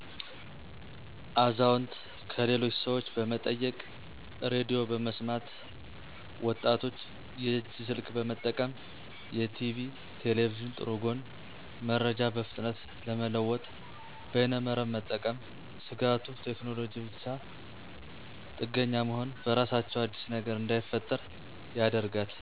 አዛውንት -ከሌሎች ሠወች በመጠየቅ ሬዲዮ በመስማት ወጣቶች -የእጅ ስልክ በመጠቀም የቲቪ ,ቴሌቪዥን ጥሩ ጎን- መረጃ በፍጥነት ለመለወጥ በይነመረብ መጠቀም ስጋቱ-ቴክኖሎጂ ጋር ብቻጥገኛ መሆን በራሳቸው አዲስ ነገር እንዳይፈጠር ያደርጋል